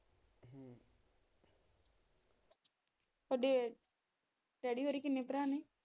ਤੁਹਾਡੇ ਡੈਡੀ ਹੋਰੀ ਕਿੰਨੇ ਭਰਾ ਨੇ?